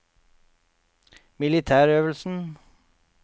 militærøvelsen